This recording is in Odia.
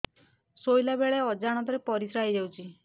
ଶୋଇଲା ବେଳେ ଅଜାଣତ ରେ ପରିସ୍ରା ହେଇଯାଉଛି